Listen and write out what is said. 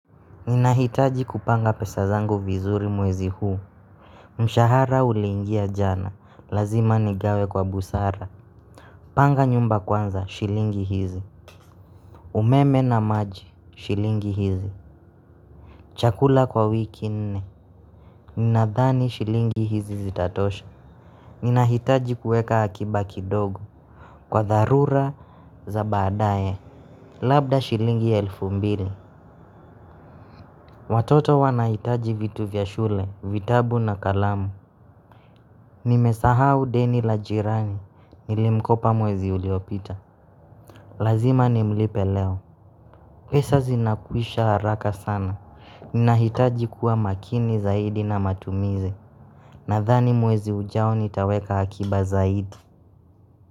Ninahitaji kupanga pesa zangu vizuri mwezi huu. Mshahara ulingia jana, lazima nigawe kwa busara. Panga nyumba kwanza, shilingi hizi umeme na maji, shilingi hizi chakula kwa wiki nne. Ninadhani shilingi hizi zitatosha. Ninahitaji kueka akiba kidogo kwa dharura za baadaye labda shilingi ya elfu mbili. Watoto wanahitaji vitu vya shule, vitabu na kalamu. Nimesahau deni la jirani, nilimkopa mwezi uliopita. Lazima ni mlipe leo. Pesa zinakwisha haraka sana. Ninahitaji kuwa makini zaidi na matumizi. Nadhani mwezi ujao nitaweka akiba zaidi.